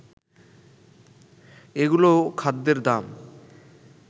এগুলোও খাদ্যের দাম